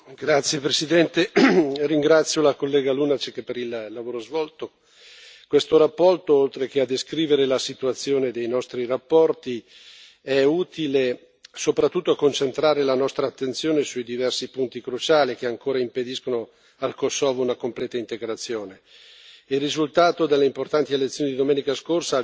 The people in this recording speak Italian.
Signor Presidente, onorevoli colleghi, ringrazio la collega Lunacek per il lavoro svolto. Questa relazione, oltre a descrivere la situazione dei nostri rapporti, è utile soprattutto a concentrare la nostra attenzione sui diversi punti cruciali che ancora impediscono al Kosovo una completa integrazione.